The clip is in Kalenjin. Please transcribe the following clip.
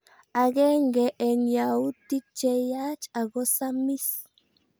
Agenge eng yautik che yaach ako samis